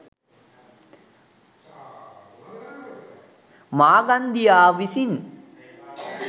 මාගන්දියා විසින්